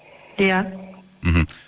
иә мхм